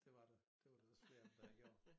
Dét var der det var der også flere af dem der havde gjort